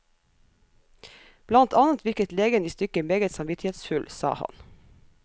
Blant annet virket legen i stykket meget samvittighetsfull, sa han.